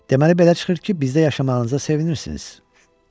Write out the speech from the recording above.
Deməli belə çıxır ki, bizdə yaşamağınıza sevinirsiniz?